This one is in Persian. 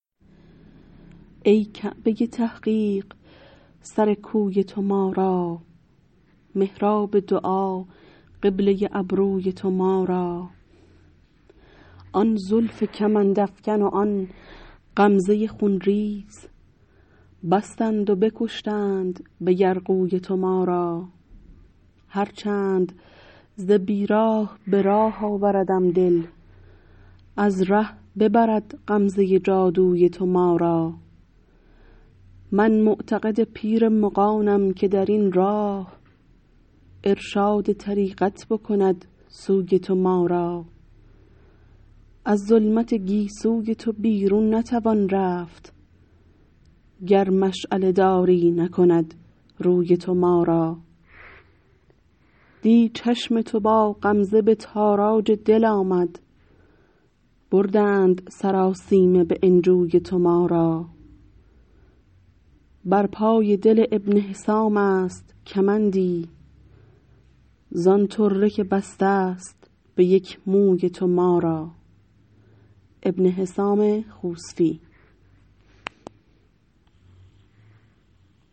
ای کعبه تحقیق سر کوی تو ما را محراب دعا قبله ابروی تو ما را آن زلف کمند افکن و آن غمزه خونریز بستند و بکشتند به یرغوی تو ما را هرچند ز بیراه به راه آوردم دل از ره ببرد غمزه جادوی تو ما را من معتقد پیر مغانم که در این راه ارشاد طریقت بکند سوی تو ما را از ظلمت گیسوی تو بیرون نتوان رفت گر مشعله داری نکند روی تو ما را دی چشم تو با غمزه به تاراج دل آمد بردند سراسیمه به انجوی تو ما را بر پای دل ابن حسام است کمندی زان طره که بسته است به یک موی تو ما را